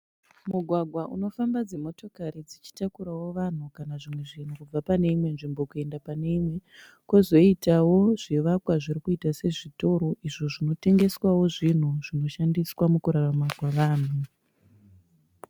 Mugwagwa unofamba dzimotokari dzichitakurawo vanhu kana zvimwe zvinhu kubva paneimwe nzvimbo kuenda paneimwe. Kozoitawo zvivakwa zvirikuita sezvitoro izvo zvinotengeswawo zvinhu zvinoshandiswa mukurarama kwavanhu.